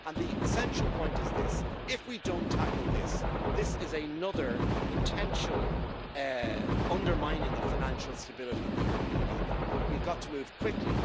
The essential point is that, if we don't tackle this, it is another potential undermining of financial stability in the European Union. We've got to move quickly.